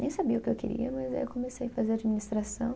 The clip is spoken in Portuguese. Nem sabia o que eu queria, mas aí eu comecei fazer administração.